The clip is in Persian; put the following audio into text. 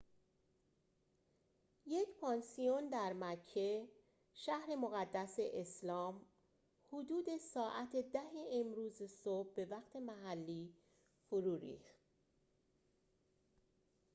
یک پانسیون در مکه شهر مقدس اسلام حدود ساعت ۱۰ امروز صبح به وقت محلی فرو ریخت